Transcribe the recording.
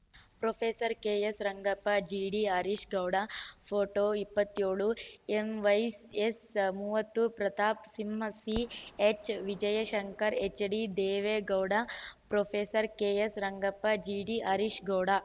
professor KS Rangappa GD Harish Gowda photo ಇಪ್ಪತ್ತೆಳು ಎಂವೈಎಸ್‌ ಮೂವತ್ತು Pratap Simha CH Vijayashankar HD Deve Gowda professor KS Rangappa GD Harish Gowda